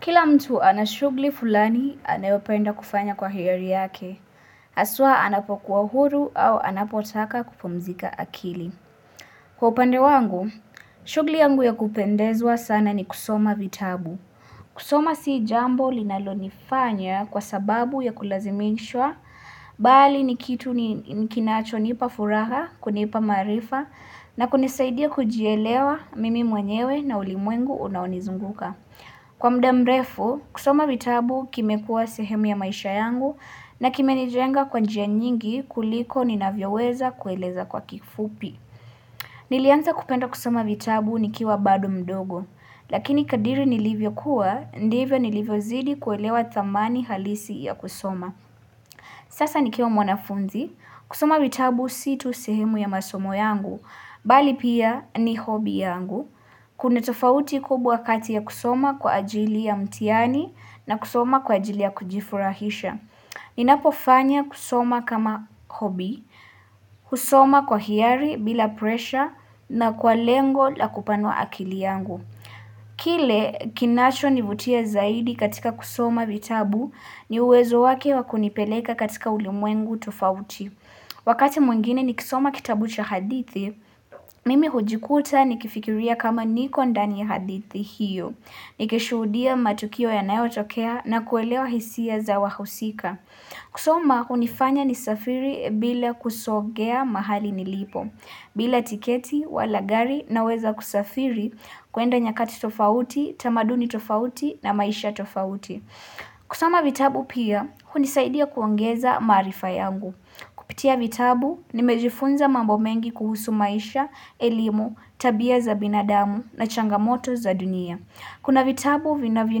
Kila mtu anashugli fulani anayopenda kufanya kwa hiyari yake, aswa anapokuwa huru au anapotaka kupumzika akili. Kwa upande wangu, shugli yangu ya kupendezwa sana ni kusoma vitabu. Kusoma si jambo linalonifanya kwa sababu ya kulazimishwa, bali ni kitu ni kinacho nipa furaha, kunipa maarifa, na kunisaidia kujielewa mimi mwenyewe na ulimwengu unaonizunguka. Kwa mda mrefu, kusoma vitabu kime kuwa sehemu ya maisha yangu na kime nijenga kwa njia nyingi kuliko ni navyo weza kueleza kwa kifupi. Nilianza kupenda kusoma vitabu nikiwa bado mdogo, lakini kadiri nilivyo kuwa, ndivyo nilivyo zidi kuelewa thamani halisi ya kusoma. Sasa ni kiwa mwanafunzi, kusoma vitabu situ sehemu ya masomo yangu, bali pia ni hobby yangu. Kuna tofauti kubwa kati ya kusoma kwa ajili ya mtiani na kusoma kwa ajili ya kujifurahisha. Ninapo fanya kusoma kama hobby, husoma kwa hiari bila presha na kwa lengo la kupanua akili yangu. Kile kinacho nivutia zaidi katika kusoma vitabu ni uwezo wake wakunipeleka katika ulimwengu tofauti Wakati mwingine ni kisoma kitabu cha hadithi, mimi hujikuta ni kifikiria kama niko ndani ya hadithi hiyo Nikishuhudia matukio ya nayo tokea na kuelewa hisia za wahusika kusoma unifanya ni safiri bila kusogea mahali nilipo bila tiketi, wala gari naweza kusafiri kuenda nyakati tofauti, tamaduni tofauti na maisha tofauti. Kusoma vitabu pia, hunisaidia kuongeza maarifa yangu. Kupitia vitabu, nimejifunza mambo mengi kuhusu maisha, elimu, tabia za binadamu na changamoto za dunia. Kuna vitabu, vinavyo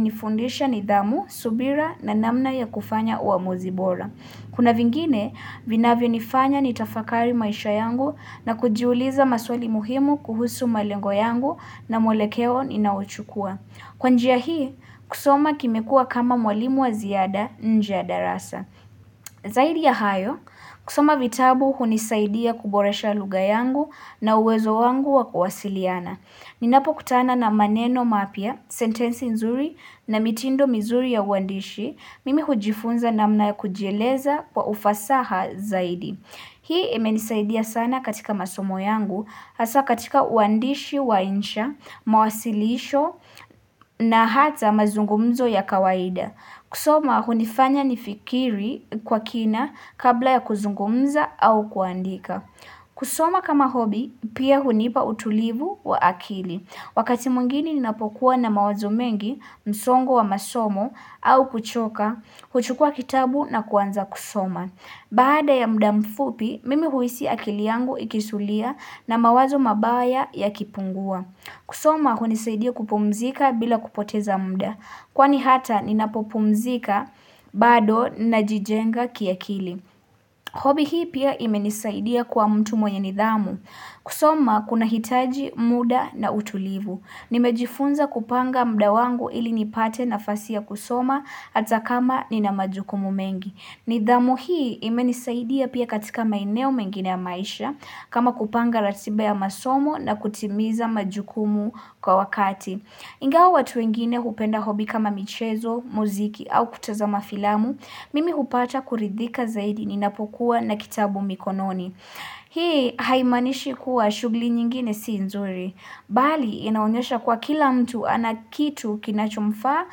nifundisha ni dhamu, subira na namna ya kufanya uamuzibora. Kuna vingine, vinavyo nifanya ni tafakari maisha yangu na kujiuliza maswali muhimu kuhusu malengo yangu na mwelekeo ninaochukua. Kwa njia hii, kusoma kimekuwa kama mwalimu wa ziada nje ya da rasa. Zahidi ya hayo, kusoma vitabu hunisaidia kuboresha lugha yangu na uwezo wangu wa kuwasiliana. Ninapo kutana na maneno mapya, sentensi nzuri na mitindo mizuri ya uandishi, mimi hujifunza na mna ya kujieleza kwa ufasaha zaidi. Hii ime nisaidia sana katika masomo yangu, hasa katika uandishi wa insha, mawasilisho na hata mazungumzo ya kawaida. Kusoma, hunifanya ni fikiri kwa kina kabla ya kuzungumza au kuandika. Kusoma kama hobi pia hunipa utulivu wa akili Wakati mwingine ninapokuwa na mawazo mengi msongo wa masomo au kuchoka huchukua kitabu na kuanza kusoma Baada ya mda mfupi mimi huisi akili yangu ikisulia na mawazo mabaya ya kipungua kusoma hunisaidia kupumzika bila kupoteza mda Kwani hata ninapopumzika bado na jijenga kia kili Hobby hii pia imenisaidia kuwa mtu mwenye nidhamu. Kusoma kuna hitaji muda na utulivu. Nimejifunza kupanga mda wangu ili nipate na fasi ya kusoma hata kama ni na majukumu mengi. Nidhamu hii imenisaidia pia katika maeneo mengine ya maisha kama kupanga ratiba ya masomo na kutimiza majukumu kwa wakati. Ingawa watu wengine hupenda hobby kama michezo, muziki au kutaza mafilamu, mimi hupata kuridhika zaidi ninapokuwa na kitabu mikononi. Hii haimanishi kuwa shugli nyingine siinzuri, bali inaonyesha kuwa kila mtu anakitu kinachomfaa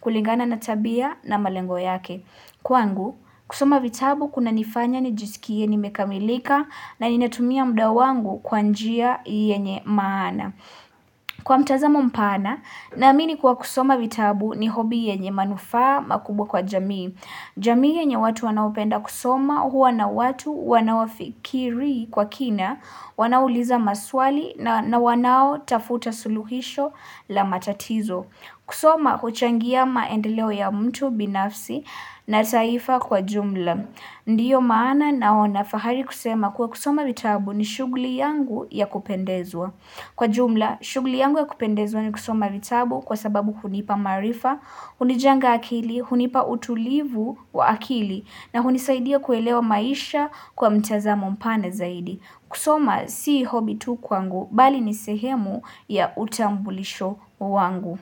kulingana natabia na malengo yake. Kwangu, kusoma vitabu kuna nifanya nijisikie nimekamilika na ninatumia muda wangu kwanjia yenye maana. Kwa mtazamo mpana, naamini kuwa kusoma vitabu ni hobby yenye manufaa makubwa kwa jamii. Jamii yenye watu wanaopenda kusoma huwa na watu wanawafikiri kwa kina, wanaouliza maswali na wanao tafuta suluhisho la matatizo. Kusoma huchangia maendeleo ya mtu binafsi na taifa kwa jumla. Ndiyo maana naona fahari kusema kuwa kusoma vitabu ni shugli yangu ya kupendezwa. Kwa jumla, shugli yangu ya kupendezwa ni kusoma vitabu kwa sababu hunipa maarifa, hunijenga akili, hunipa utulivu wa akili na hunisaidia kuelewa maisha kwa mtazamo mpana zaidi. Kusoma si hobby tu kwangu, bali nisehemu ya utambulisho wangu.